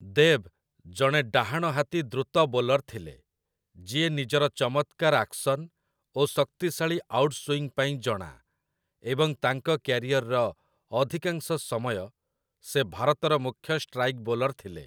ଦେବ୍ ଜଣେ ଡାହାଣହାତି ଦ୍ରୁତ ବୋଲର୍ ଥିଲେ, ଯିଏ ନିଜର ଚମତ୍କାର ଆକ୍ସନ୍ ଓ ଶକ୍ତିଶାଳୀ ଆଉଟ୍‌ସୁଇଙ୍ଗ ପାଇଁ ଜଣା, ଏବଂ ତାଙ୍କ କ୍ୟାରିୟର୍‌ର ଅଧିକାଂଶ ସମୟ ସେ ଭାରତର ମୁଖ୍ୟ ଷ୍ଟ୍ରାଇକ୍ ବୋଲର୍ ଥିଲେ ।